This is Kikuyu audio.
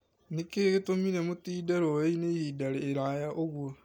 Nĩ kĩĩ gĩtũmire mũtinde rũĩ-inĩ ihinda iraaya ũguo?